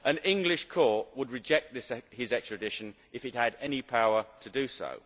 An English court would reject his extradition if it had any power to do so.